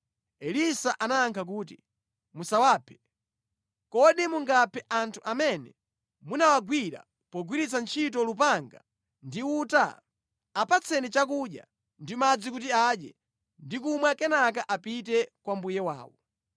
Elisa anayankha kuti, “Musawaphe. Kodi mungaphe anthu amene munawagwira pogwiritsa ntchito lupanga ndi uta? Apatseni chakudya ndi madzi kuti adye ndi kumwa kenaka apite kwa mbuye wawo.”